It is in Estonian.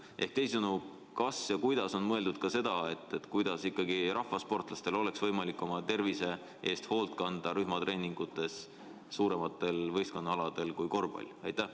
Ehk teisisõnu: kas on mõeldud ka seda, kuidas ikkagi rahvasportlastel oleks võimalik oma tervise eest hoolt kanda rühmatreeningutes suuremate võistkondadega aladel kui korvpall?